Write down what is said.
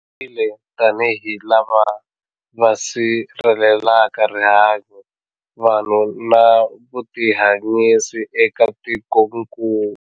Tirhile tanihi lava va sirhelelaka rihanyu, vanhu na vutihanyisi eka tikokulu.